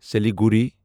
Siliguri